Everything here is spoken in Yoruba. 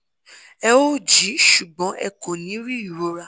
ẹ ó jí ṣùgbọ́n ẹ kò ní í rí rí ìrora